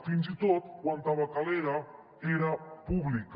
fins i tot quan tabacalera era pública